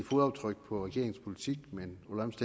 min